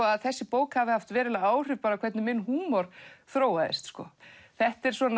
að þessi bók hafi haft veruleg áhrif á hvernig minn húmor þróast þetta er